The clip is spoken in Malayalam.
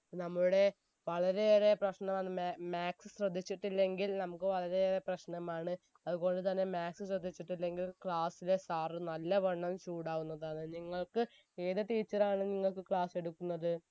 നമ്മുടെ വളരെയേറെ പ്രശ്നമാണ് മ maths ശ്രദ്ധിച്ചിട്ടില്ലെങ്കിൽ നമുക്ക് വളരെ ഏറെ പ്രശ്നമാണ് അത് പോലെ തന്നെ maths ശ്രദ്ധിച്ചിട്ടില്ലെങ്കിൽ class ലെ sir നല്ലവണ്ണം ചൂടാവുന്നതാണ് നിങ്ങൾക് ഏത് teacher ആണ് നിങ്ങൾക്ക് class എടുക്കുന്നത്